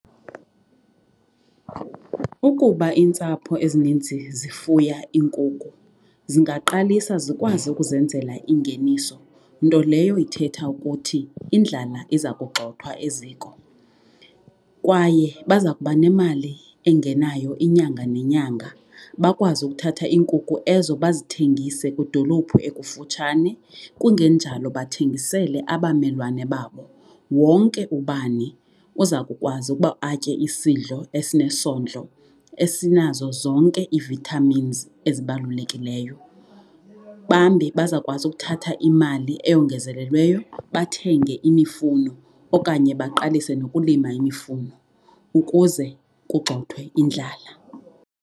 Ukuba iintsapho ezininzi zifuya iinkukhu zingaqalisa zikwazi ukuzenzela ingeniso, nto leyo ithetha ukuthi indlala iza kugxothwa eziko. Kwaye baza kuba nemali engenayo inyanga nenyanga bakwazi ukuthatha iinkukhu ezo bazithengise kwidolophu ekufutshane kungenjalo bathengisele abamelwane babo. Wonke ubani uza kukwazi ukuba atye isidlo esinesondlo esinazo zonke ii-vitamins ezibalulekileyo, bambi bazawukwazi ukuthatha imali eyongezelelweyo bathenge imifuno okanye baqalise nokulima imifuno ukuze kugxothwe indlala.